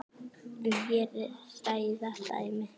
En hér hræða dæmin.